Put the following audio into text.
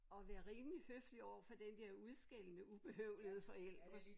Og være rimelig høflig overfor den der udskældende ubehøvlede forældre